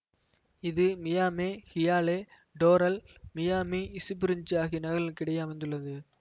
இது Miami Hialeah Doral Miami Springs ஆகிய நகரங்களுக்கு இடையே அமைந்துள்ளது